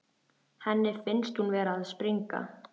Henni finnst hún vera að springa.